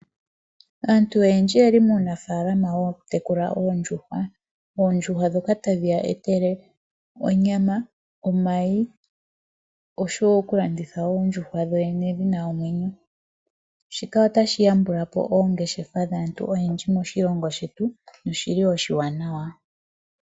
Aantu oyendji oye li muunafalama wokutekula oondjuhwa ndhoka tadhi ya etele onyama, omayi oshowo okulanditha oondjuhwa dho dhene dhi na omwenyo shika otashi yambulapo oongeshefa dhaantu oyendji moshilongo shetu noshi li oshiwanawa.